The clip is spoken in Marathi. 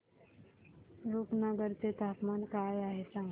रुपनगर चे तापमान काय आहे सांगा